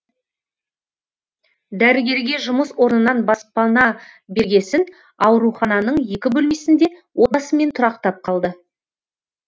дәрігерге жұмыс орнынан баспана бергесін ауруханының екі бөлмесінде отбасымен тұрақтап қалды